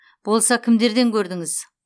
болса кімдерден көрдіңіз